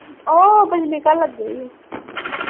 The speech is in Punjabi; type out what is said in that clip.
ਉਹ ਬਿਜਲੀ ਘਰ ਲੱਗੇ ਹੀ ਉਹ।